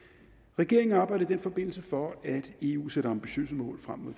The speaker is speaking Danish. regeringen arbejder i den forbindelse for at eu sætter ambitiøse mål frem mod